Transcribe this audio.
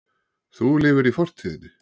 Þú lifir í fortíðinni.